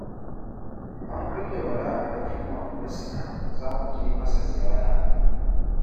An kulle Bala abokinmu a bursuna za mu je masa ziyara